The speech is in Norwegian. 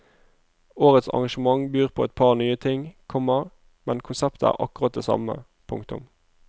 Årets arrangement byr på et par nye ting, komma men konseptet er akkurat det samme. punktum